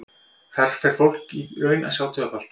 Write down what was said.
Þar fer fólk því í raun að sjá tvöfalt.